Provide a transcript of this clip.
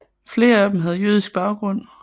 Flere af dem havde jødisk baggrund